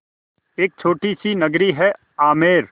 एक छोटी सी नगरी है आमेर